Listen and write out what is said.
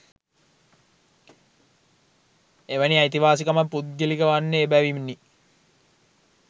එවැනි අයිතිවාසිකමක් පුද්ගලික වන්නේ එබැවිණි.